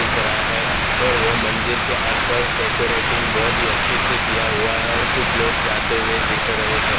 दिख रहा है और वो मंदिर के आसपास डेकोरेटिंग बहुत ही अच्छे से किया हुआ है और कुछ लोग जाते हुए दिख रहे हैं।